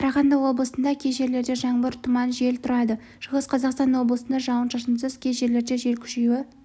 қарағанды облысында кей жерлерде жаңбыр тұман жел тұрады шығыс қазақстан облысында жауын-шашынсыз кей жерлерде жел күшеюі